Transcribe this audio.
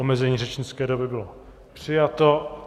Omezení řečnické doby bylo přijato.